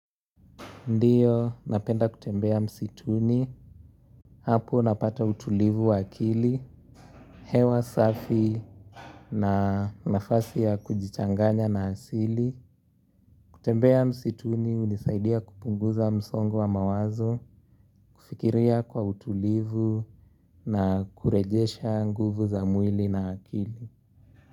Ndiyo, napenda kutembea msituni, hapo napata utulivu wa akili, hewa safi na nafasi ya kujichanganya na asili. Kutembea msituni, hunisaidia kupunguza msongu wa mawazo, kufikiria kwa utulivu na kurejesha nguvu za mwili na akili.